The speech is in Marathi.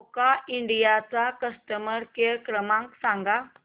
रोका इंडिया चा कस्टमर केअर क्रमांक सांगा